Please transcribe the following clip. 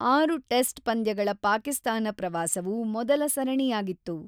ಆರು ಟೆಸ್ಟ್ ಪಂದ್ಯಗಳ ಪಾಕಿಸ್ತಾನ ಪ್ರವಾಸವು ಮೊದಲ ಸರಣಿಯಾಗಿತ್ತು.